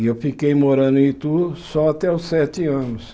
E eu fiquei morando em Itu só até os sete anos.